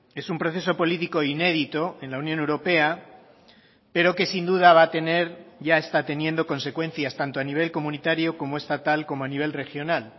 es un proceso político inédito en la unión europea pero que sin duda va a tener ya está teniendo consecuencias tanto a nivel comunitario como estatal como a nivel regional